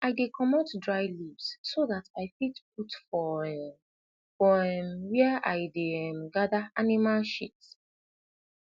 i dey comot dry leaves so dat i fit put for um for um wia i dey um gada animal shit